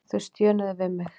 Þau stjönuðu við mig.